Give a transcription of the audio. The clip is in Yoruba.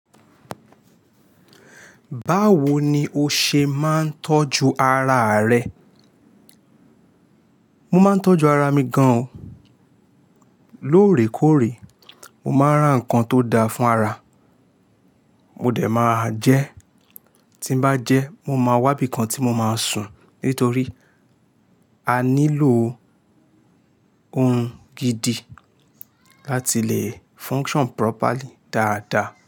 Báwo ni o ṣe máa ń tọ́jú araa rẹ? Mo máa ń tọ́jú ara mi gan oo. Lóorèkóorè, mo máa ń rà nnkan tó da fún ara. Mo dẹ̀ maa jẹ́, tí n bá jẹ, mo máa wábi kan tí mo máa sùn. Nítorí a nílò ohun gidi láti le function properly dáadá.